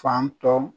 Fan tɔ